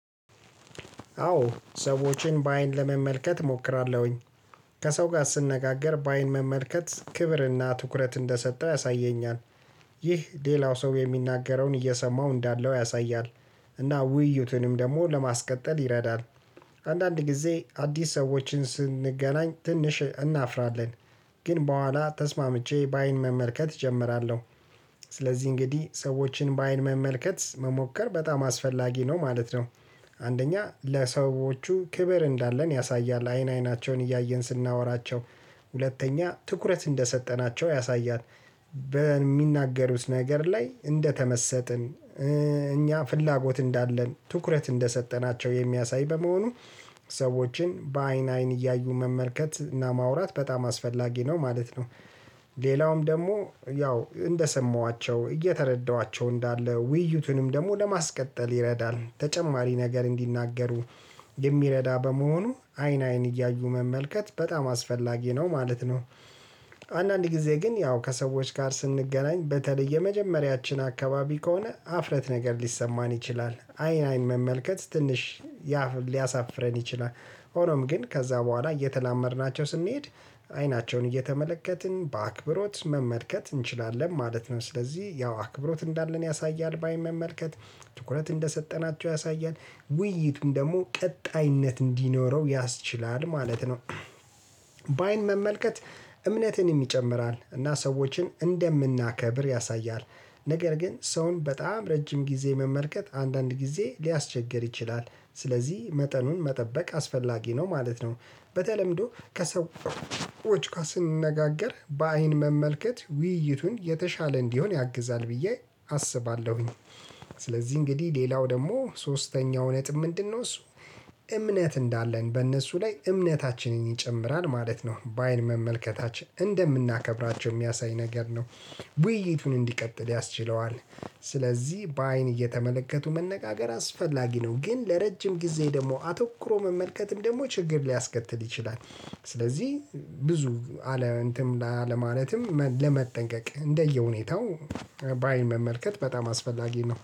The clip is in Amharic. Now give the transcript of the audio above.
አዎ ሰዎችን በአይን ለመመልከት እሞክራለሁኝ ከሰው ጋር ስንነጋገር በአይን መመልከት ክብርና ትኩረት እንደሰጠው ያሳየኛል። ይህ ሌላው ሰው የሚናገረውን እየሰማው እንዳለው ያሳያል። እና ውይይቱንም ደግሞ ለማስቀጠል ይረዳል። አንዳንድ ጊዜ አዲስ ሰዎችን ስንገናኝ ትንሽ እናፍራለን። ግን በኋላ ተስማምቼ በአይን መመልከት እጀምራለሁ። ስለዚህ እንግዲህ ሰዎችን በአይን መመልከት መሞከር በጣም አስፈላጊ ነው ማለት ነው። አንደኛ ለሰዎቹ ክብር እንዳለን ያሳያል አይን አይናቸውን እያየን ስናወራቸው። ሁለተኛ ትኩረት እንደሰጠናቸው ያሳያት። በሚናገሩት ነገር ላይ እንደተመሰጥን እኛ ፍላጎት እንዳለን ትኩረት እንደሰጠናቸው የሚያሳይ በመሆኑ። ሰዎችን በአይን አይን እያዩ መመልከት እና ማውራት በጣም አስፈላጊ ነው ማለት ነው። ሌላውም ደግሞ ያው እንደሰማኋቸው እየተረዳኋቸው እንዳለ ውይይቱንም ደግሞ ለማስቀጠል ይረዳል ተጨማሪ ነገር እንዲናገሩ። የሚረዳ በመሆኑ አይን አይን እያዩ መመልከት በጣም አስፈላጊ ነው ማለት ነው። ጊዜ ግን ያው ከሰዎች ጋር ስንገናኝ በተለይ የመጀመሪያችን አካባቢ ከሆነ ሀፍረት ነገር ሊሰማን ይችላል አይን አይን መመልከት ትንሽ ሊያሳፍረን ይችላል። ሆኖም ግን ከዛ በኋላ እየተላመድናቸው ስንሄድ አይናቸውን እየተመለከትን በአክብሮት መመልከት እንችላለን ማለት ነው። ስለዚህ ያው አክብሮት እንዳለን ያሳያል በአይን መመልከት ትኩረት እንደሰጠናቸው ያሳያል ውይይቱን ደግሞ ቀጣይነት እንዲኖረው ያስችላል ማለት ነው። በአይን መመልከት እምነትም ይጨምራል እና ሰዎችን እንደምናከብር ያሳያል። ነገር ግን ሰውን በጣም ረጅም ጊዜ መመልከት አንዳንድ ጊዜ ሊያስቸግር ይችላል ስለዚህ መጠኑን መጠበቅ አስፈላጊ ነው ማለት ነው። በተለምዶ ከሰዎች ኳስ ስንነጋገር በአይን መመልከት ውይይቱን የተሻለ እንዲሆን ያግዛል ብዬ አስባለሁኝ። ስለዚህ እንግዲህ ሌላው ደግሞ ሶስተኛው ነጥብ ምንድነው እሱ? እምነት እንዳለን በእነሱ ላይ እምነታችንን ይጨምራል ማለት ነው በአይን መመልከታችን እንደምናከብራቸው የሚያሳይ ነገር ነው። ውይይቱን እንዲቀጥል ያስችለዋል። ስለዚህ በአይን እየተመለከቱ መነጋገር አስፈላጊ ነው ግን ለረጅም ጊዜ ደግሞ አተኩሮ መመልከትም ደግሞ ችግር ሊያስከትል ይችላል። ስለዚህ ብዙ አለ እንትን አለማለትም ለመጠንቀቅ እንደየሁኔታው በአይን መመልከት በጣም አስፈላጊ ነው